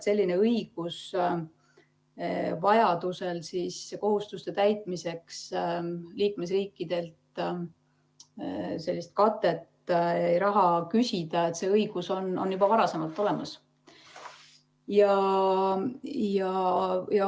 Selline õigus vajaduse korral kohustuste täitmiseks liikmesriikidelt sellist katet, raha küsida, on juba varasemalt olemas.